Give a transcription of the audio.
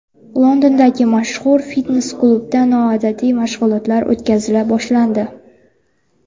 Londondagi mashhur fitnes-klubda noodatiy mashg‘ulotlar o‘tkazila boshlandi.